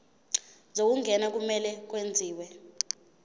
zokungena kumele kwenziwe